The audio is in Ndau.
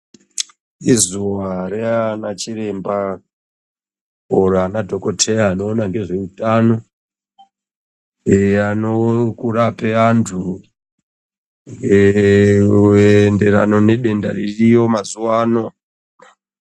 Izuva reana chiremba oro ana dhokoteya anoona ngezveutano. Eya nokurape antu kuenderana nedenda ririyo mazuvano.